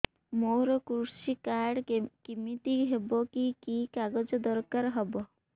ମୋର କୃଷି କାର୍ଡ କିମିତି ହବ କି କି କାଗଜ ଦରକାର ହବ